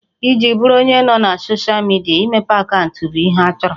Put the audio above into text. Iji bụrụ onye nọ na soshịa midia, imepe akaụntụ bụ ihe a chọrọ